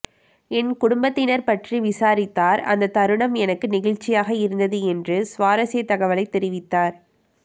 என் குடும்பத்தினர் பற்றி விசாரித்தார் அந்த தருணம் எனக்கு நெகிழ்ச்சியாக இருந்தது என்று சுவாரசியத் தகவலை தெரிவித்தார்